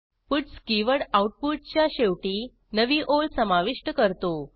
puts keyword आऊटपुटच्या शेवटी नवी ओळ समाविष्ट करतो